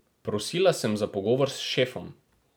Prosila sem za pogovor s šefom.